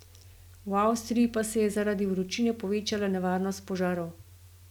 V Avstriji pa se je zaradi vročine povečala nevarnost požarov.